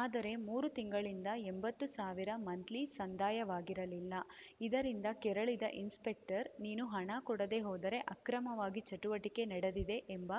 ಆದರೆ ಮೂರು ತಿಂಗಳಿಂದ ಎಂಬತ್ತು ಸಾವಿರ ಮಂತ್ಲಿ ಸಂದಾಯವಾಗಿರಲಿಲ್ಲ ಇದರಿಂದ ಕೆರಳಿದ ಇನ್ಸ್‌ಪೆಕ್ಟರ್‌ ನೀನು ಹಣ ಕೊಡದೆ ಹೋದರೆ ಅಕ್ರಮವಾಗಿ ಚಟುವಟಿಕೆ ನಡೆದಿದೆ ಎಂಬ